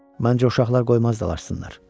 Məncə, uşaqlar qoymazdılar açsınlar.